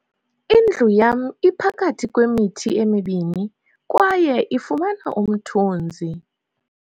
indlu yam iphakathi kwemithi emibini kwaye ifumana umthunzi